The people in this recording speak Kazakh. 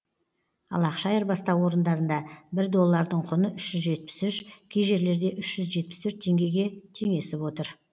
ал ақша айырбастау орындарында бір доллардың құны үш жүз жетпіс үш кей жерлерде үш жүз жетпіс төрт теңгеге теңесіп отыр